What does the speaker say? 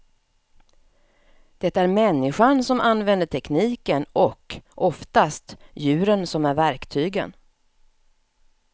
Det är människan som använder tekniken och, oftast, djuren som är verktygen.